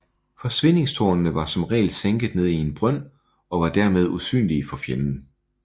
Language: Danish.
Forsvindingstårnene var som regel sænket ned i en brønd og dermed usynlige for fjenden